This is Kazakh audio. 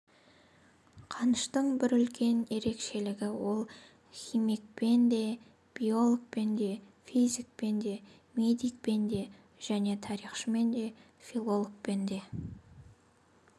қаныштың бір үлкен ерекшелігі ол химикпен де биологпен де физикпен де медикпен де және тарихшымен де филологпен де